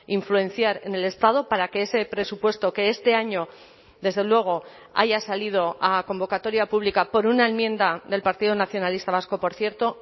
influenciar en el estado para que ese presupuesto que este año desde luego haya salido a convocatoria pública por una enmienda del partido nacionalista vasco por cierto